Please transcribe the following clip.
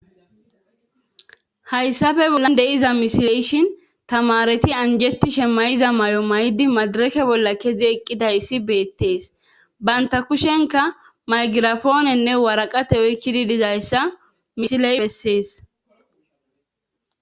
hayssafe bollan deiza misileyshin tamareti anjetti shemayiza may7o may7di madirake bolla kezi eqqidayssi beettees banta kushenka maygirafoonenne waraqate oykkidi dizayssa misile bessees